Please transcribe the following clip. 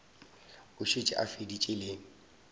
a šetše a feditše le